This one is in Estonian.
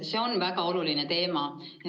See on väga oluline teema.